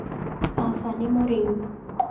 Baba nĩ mũrĩu